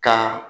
Ka